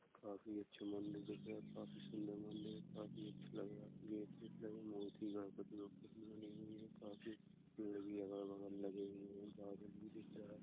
काफी अच्छा मंदिर दिख रहा है। काफी सुन्दर मंदिर है। काफी अच्छा लग रहा है। गेट- वेट लगे हुए है मूर्ति गढ़पति बनी हुई है काफी पेड़ भी अलग -बगल भी लगे हुए है गार्डन भी दिख रहा है।